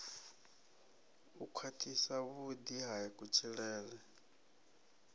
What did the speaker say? u khwathisa vhudi ha kutshilele